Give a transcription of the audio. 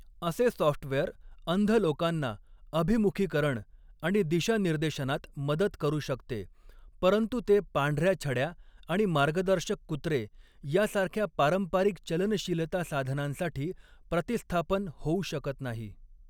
असे सॉफ्टवेअर अंध लोकांना अभिमुखीकरण आणि दिशानिर्देशनात मदत करू शकते, परंतु ते पांढऱ्या छड्या आणि मार्गदर्शक कुत्रे यासारख्या पारंपारिक चलनशीलता साधनांसाठी प्रतिस्थापन होऊ शकत नाही.